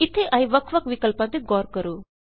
ਇੱਥੇ ਆਏ ਵੱਖ ਵੱਖ ਵਿਕਲਪਾਂ ਤੇ ਗੌਰ ਕਰੋ